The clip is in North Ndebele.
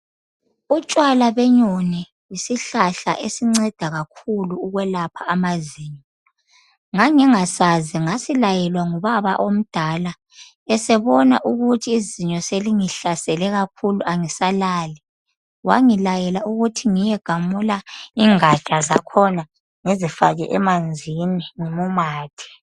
Utshwala benyoni yisihlahla esinceda kakhulu ukwelapha amazinyo. Ngangingasazi. Ngasilayelwa ngubaba omdala.. Esebona ukuthi izinyo selingihlasele kakhulu, angisalali. Wangilayela ukuthi ngiyegamula ingaja zakhona, ngizifake emanzini ngimumathe.